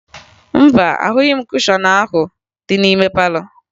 Mba, ahụghị m kushọn ahụ dị n'ime palọ